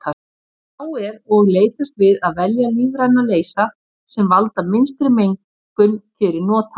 Þá er og leitast við að velja lífræna leysa sem valda minnstri mengun fyrir notandann.